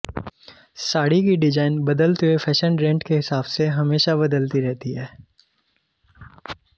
साड़ी की डिजाइन बदलते हुए फैशन ड्रेंट के हिसाब से हमेशा बदलती रहती है